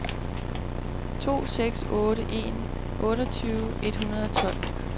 to seks otte en otteogtyve et hundrede og tolv